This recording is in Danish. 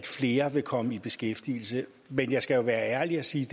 flere vil komme i beskæftigelse men jeg skal jo være ærlig og sige